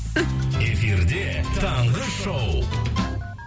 эфирде таңғы шоу